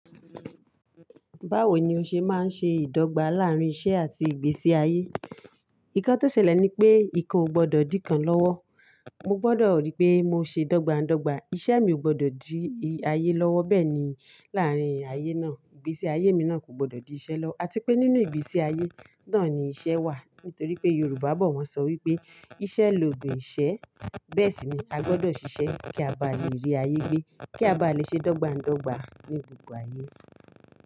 Báwo ni o ṣe máa ń ṣe ìdọ́gba láàárín iṣẹ́ àti ìgbésí ayé? Nǹkan tó ṣẹlẹ̀ ni pé ìkan o gbọdọ̀ di kan lọ́wọ́. Mo gbọdọ̀ ríi pé mo ṣe dọ́gba dọ́gba. Iṣẹ́ mi ò gbọdọ̀ di i ayé lọ́wọ́ bẹ́ẹ̀ ni láàárín ayé náà. Ìgbésí ayé mi náà kò gbọdọ̀ di iṣẹ́ lọwo àti pé nínú ìgbésí ayé náà ni iṣẹ́ wà. Nítorí pé Yorùbá bọ̀ wọ́n sọ wípé iṣẹ́ lògún ìṣẹ́. Bẹ́ẹ̀ sì ni a gbọdọ̀ ṣiṣẹ́ kí a bá lè rí ayé gbé, kí a bá lè ṣe dọ́ngba dọ́gba ní gbogbo ayé.